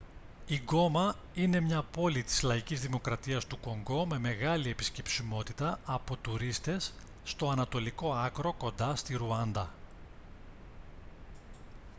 η γκόμα είναι μια πόλη της λαϊκής δημοκρατίας του κονγκό με μεγάλη επισκεψιμότητα από τουρίστες στο ανατολικό άκρο κοντά στη ρουάντα